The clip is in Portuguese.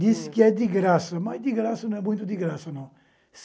Dizem que é de graça, mas de graça não é muito de graça, não.